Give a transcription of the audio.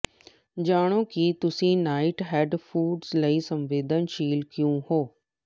ਜਾਣੋ ਕਿ ਤੁਸੀਂ ਨਾਈਟਹੈਡ ਫੂਡਜ਼ ਲਈ ਸੰਵੇਦਨਸ਼ੀਲ ਕਿਉਂ ਹੋ